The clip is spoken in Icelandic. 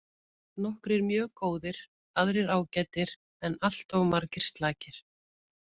Nokkrir mjög góðir aðrir ágætir en alltof margir slakir.